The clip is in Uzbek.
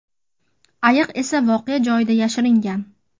Ayiq esa voqea joyidan yashiringan.